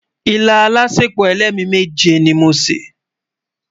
ìlà álàsèpo ẹlẹmi méje ní mọ ṣé